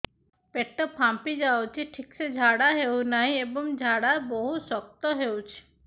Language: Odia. ପେଟ ଫାମ୍ପି ଯାଉଛି ଠିକ ସେ ଝାଡା ହେଉନାହିଁ ଏବଂ ଝାଡା ବହୁତ ଶକ୍ତ ହେଉଛି